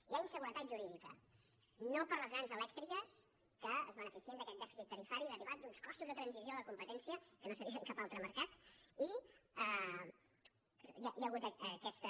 hi ha inseguretat jurídica no per a les grans elèctriques que es beneficien d’aquest dèficit tarifari derivat d’uns costos de transició a la competència que no s’ha vist en cap altre mercat i hi ha hagut aquesta